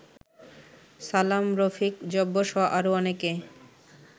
সালাম, রফিক, জব্বরসহ আরো অনেকে